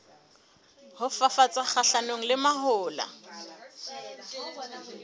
ho fafatsa kgahlanong le mahola